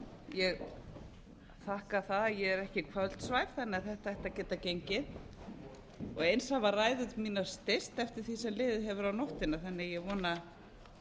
ég þakka það að ég er ekki kvöldsvæf þannig að þetta ætti að geta gengið eins hafa ræður mínar styst eftir því sem liðið hefur á nóttina þannig að ég vona